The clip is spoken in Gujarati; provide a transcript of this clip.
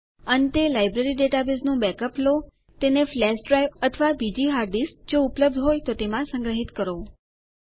અંતે લાઈબ્રેરી ડેટાબેઝનું બેકઅપ લો તેને ફ્લેશ ડ્રાઈવ અથવા બીજી હાર્ડ ડીસ્ક જો ઉપલબ્ધ હોય તો તેમાં સંગ્રહિત કરો